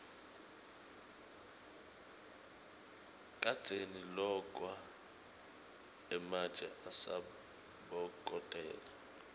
kadzeni lokwa ematje asabokotela